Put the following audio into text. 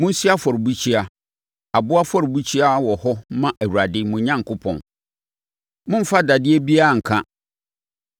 Monsi afɔrebukyia, aboɔ afɔrebukyia wɔ hɔ mma Awurade, mo Onyankopɔn. Mommfa dadeɛ biribiara nka.